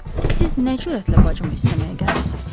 Siz nə cürətlə bacımı istəməyə gəlmisiniz?